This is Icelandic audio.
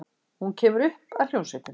Hún kemur upp að hljómsveitinni.